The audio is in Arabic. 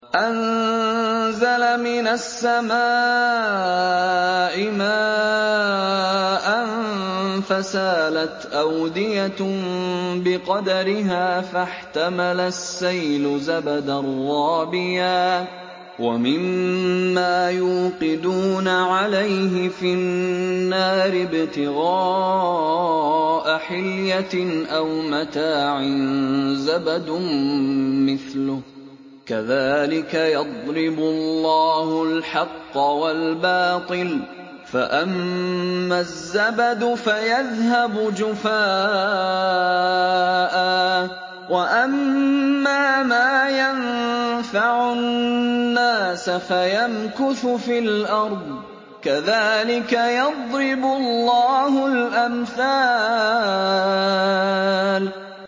أَنزَلَ مِنَ السَّمَاءِ مَاءً فَسَالَتْ أَوْدِيَةٌ بِقَدَرِهَا فَاحْتَمَلَ السَّيْلُ زَبَدًا رَّابِيًا ۚ وَمِمَّا يُوقِدُونَ عَلَيْهِ فِي النَّارِ ابْتِغَاءَ حِلْيَةٍ أَوْ مَتَاعٍ زَبَدٌ مِّثْلُهُ ۚ كَذَٰلِكَ يَضْرِبُ اللَّهُ الْحَقَّ وَالْبَاطِلَ ۚ فَأَمَّا الزَّبَدُ فَيَذْهَبُ جُفَاءً ۖ وَأَمَّا مَا يَنفَعُ النَّاسَ فَيَمْكُثُ فِي الْأَرْضِ ۚ كَذَٰلِكَ يَضْرِبُ اللَّهُ الْأَمْثَالَ